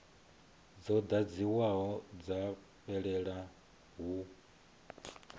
dzo ḓadziwaho dza fhelela hu